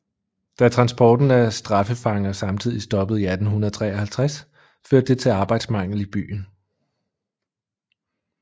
Da transporten af straffefanger samtidig stoppede i 1853 førte det til arbejdsmangel i byen